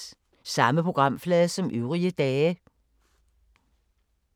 Samme programflade som øvrige dage